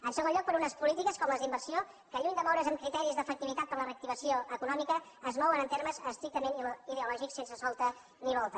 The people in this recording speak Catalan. en segon lloc per unes polítiques com les d’inversió que lluny de moure’s amb criteris d’efectivitat per a la reactivació econòmica es mouen en termes estrictament ideològics sense solta ni volta